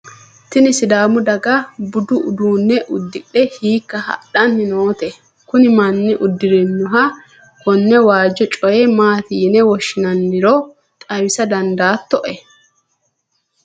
tini sidaamu daga budu uduunne uddidhe hiikka hadhanni noote? kuni manni uddirinoha konne waajjo coye maati yine woshshinanniro xawisa dandaatto?